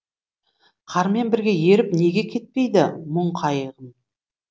қармен бірге еріп неге кетпейді мұң қайғым